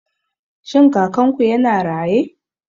Shin Kakanku yana raye?